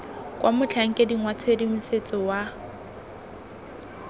kwa motlhankeding wa tshedimosetso wa